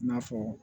I n'a fɔ